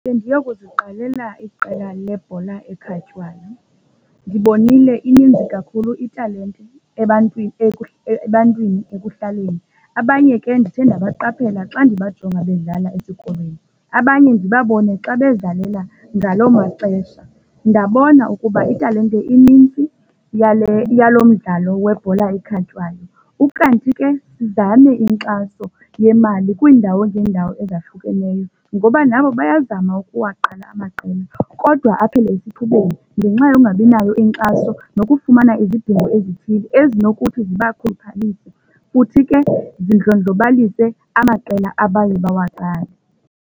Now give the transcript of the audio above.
Bendiyokuziqalela iqela lebhola ekhatywayo. Ndibonile ininzi kakhulu italente ebantwini ebantwini ekuhlaleni. Abanye ke ndithe ndabaqaphela xa ndibajonga bedlala esikolweni, abanye ndibabone xa bezidlalela ngaloo maxesha, ndabona ukuba italente inintsi yale yalo mdlalo webhola ekhatywayo. Ukanti ke sizame inkxaso yemali kwiindawo ngeendawo ezahlukeneyo ngoba nabo bayazama ukuwaqala amaqela kodwa aphele esithubeni ngenxa yokungabinayo inkxaso nokufumana izidingo ezithile ezinokuthi zibakhuphalise, futhi ke zindlondlobalise amaqela abaye bawaqale.